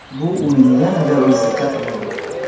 Bu uni yanada o‘zgacha qiladi.